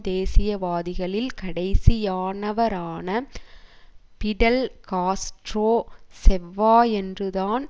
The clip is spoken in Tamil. தேசியவாதிகளில் கடைசியானவரான பிடல் காஸ்ட்ரோ செவ்வாயன்று தான்